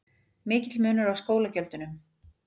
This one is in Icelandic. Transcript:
Mikill munur á skólagjöldunum